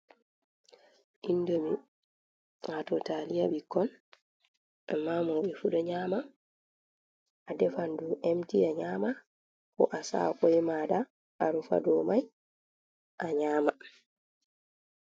Indomi wato taliya ɓikkon amma mauɓe fu ɗo nyama a defan ɗum emti a nyama ko asa'a koi mada a rufa dow mai a nyama.